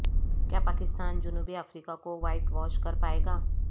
کیا پاکستان جنوبی افریقہ کو وائٹ واش کرپائے گا